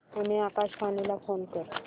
पुणे आकाशवाणीला फोन कर